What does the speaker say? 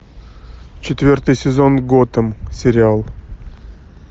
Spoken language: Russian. четвертый сезон готэм сериал